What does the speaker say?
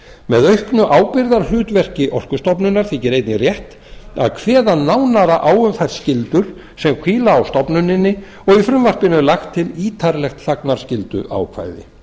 með auknu ábyrgðarhlutverki orkustofnunar þykir einnig rétt að kveða nánar á um þær skyldur sem hvíla á stofnuninni og í frumvarpinu er lagt til ítarlegt þagnarskylduákvæði